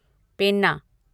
पेन्ना